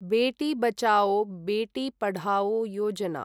बेटी बचाओ, बेटी पढाओ योजना